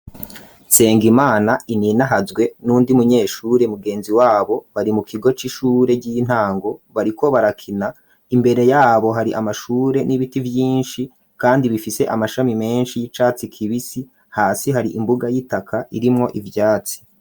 Nsengimana, Ininahazwe, n'uwundi munyeshure, mugenzi wabo, bari mu kigo c'ishure ry'intango, bariko barakina; imbere y'abo, hari amashure, n'ibiti vyinshi, kandi bifise, amashami menshi, y'icatsi kibisi; hasi, hari imbuga y'itaka, irimwo ivyatsi.